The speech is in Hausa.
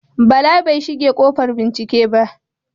Bala bai shige ƙofar bincike ba.